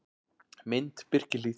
Mynd: Birkihlíð